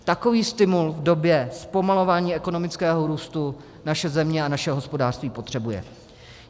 Takový stimul v době zpomalování ekonomického růstu naše země a naše hospodářství potřebuje.